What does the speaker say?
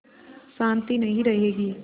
शान्ति नहीं रहेगी